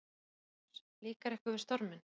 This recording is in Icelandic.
Jón Júlíus: Líkar ykkur við storminn?